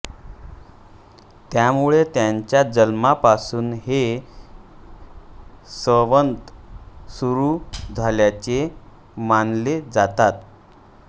त्यामुळे त्याच्या जन्मापासून हे संवत सुरू झाल्याचे मानले जाते